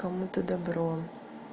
кому-то добро